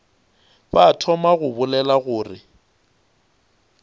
ba thoma go bolela gore